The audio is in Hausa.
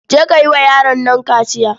Je ka yi wa yaron nan kaciya.